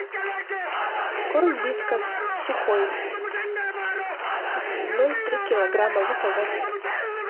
корм вискас сухой ноль три килограмма заказать